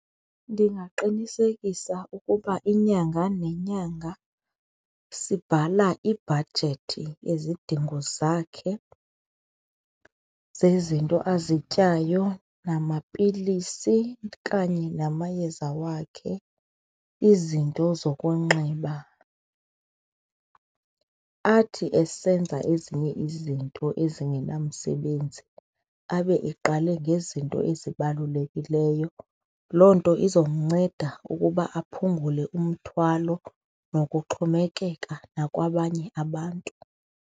Ndingaqinisekisa ukuba inyanga nenyanga sibhala ibhajethi yezidingo zakhe zezinto azityayo namapilisi kanye namayeza wakhe, izinto zokunxiba. Athi esenza ezinye izinto ezingenamsebenzi abe eqale ngezinto ezibalulekileyo, loo nto izomnceda ukuba aphungule umthwalo nokuxhomekeka nakwabanye abantu.